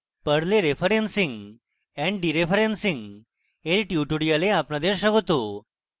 perl এ referencing and dereferencing এর tutorial আপনাদের স্বাগত